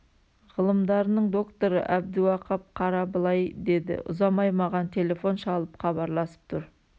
ғылымдарының докторы әбдіуақап қара былай деді ұзамай маған телефон шалып хабарласып тұр